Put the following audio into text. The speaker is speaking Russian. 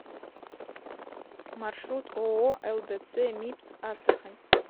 маршрут ооо лдц мибс астрахань